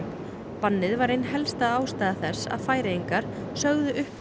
bannið var ein helsta ástæða þess að Færeyingar sögðu upp